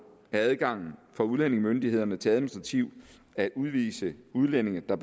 er adgangen for udlændingemyndighederne til administrativt at udvise udlændinge der